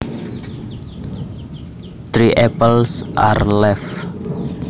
Three apples are left